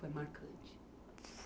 Foi marcante.